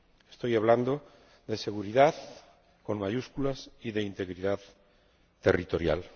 Estoy hablando de seguridad, con mayúsculas, y de integridad territorial.